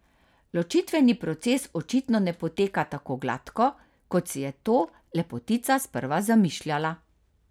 Ločitveni proces očitno ne poteka tako gladko, kot si je to lepotica sprva zamišljala.